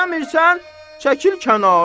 İstəmirsən, çəkil kənara!